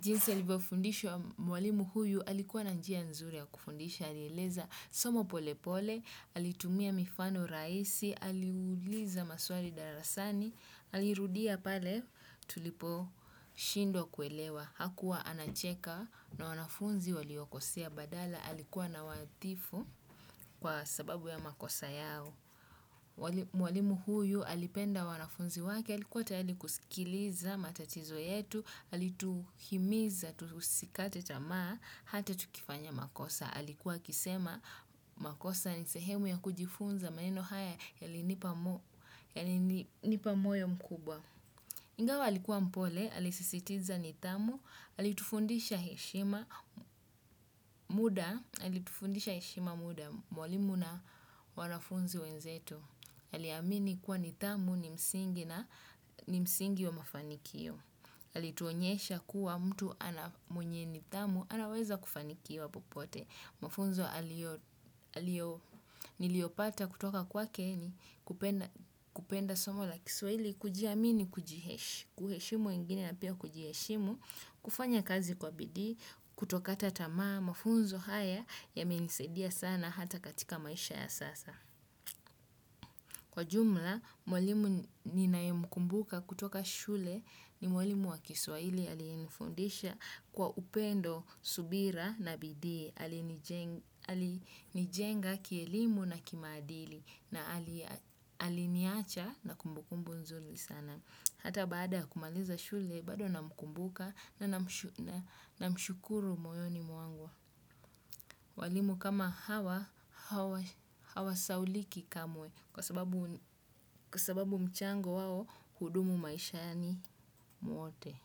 Jinsi alivofundishwa mwalimu huyu, alikuwa nanjia nzuri ya kufundisha, alieleza soma pole pole, alitumia mifano raisi, aliuliza maswari darasani, alirudia pale tulipo shindwa kuelewa. Hakuwa anacheka na wanafunzi waliwakosea badala alikuwa na watifu kwa sababu ya makosa yao. Mwalimu huyu alipenda wanafunzi wake alikuwa tayali kusikiliza matatizo yetu, alituhimiza, tusikate tamaa, hata tukifanya makosa. Alikuwa kisema makosa ni sehemu ya kujifunza maneno haya yalinipamoyo mkubwaa. Ingawa halikuwa mpole, halisisitiza nitamu, halitufundisha heshima muda, halitufundisha heshima muda, mwalimu na wanafunzi wenzetu. Haliamini kuwa nitamu ni msingi na msingi wa mafanikio. Halituonyesha kuwa mtu ana mwenye nitamu, anaweza kufanikiwa popote. Mafunzo niliopata kutoka kwake ni kupenda somo la kiswaili kuji amini kujiheshimu, kufanya kazi kwa bidii, kutokata tamaa, mafunzo haya ya menisedia sana hata katika maisha ya sasa. Kwa jumla, mwalimu ni nae mkumbuka kutoka shule ni mwalimu wa kiswaili aliyenifundisha kwa upendo, subira na bidii. Alinijenga kielimu na kimadili na aliniacha na kumbukumbu nzuli sana. Hata bada kumaliza shule, bado na mkumbuka na mshukuru moyoni muangu. Walimu kama hawa, hawa sawauliki kamwe kwa sababu mchango wao hudumu maisha ni muote.